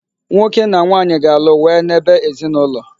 Nwoke na nwanyị ga-alụ wee n'ebe ezinụlọ.